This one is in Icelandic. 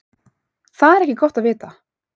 Það er ekki gott að vita.